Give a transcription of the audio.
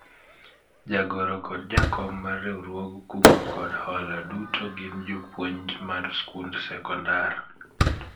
Jagoro kod jakom mar riwruog kungo kod hola duto gin jopuonj mar sikund sekondar